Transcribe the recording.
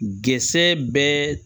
Gɛn bɛɛ